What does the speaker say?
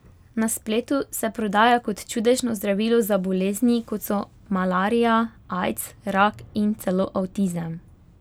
Na spletu se prodaja kot čudežno zdravilo za bolezni, kot so malarija, aids, rak in celo avtizem.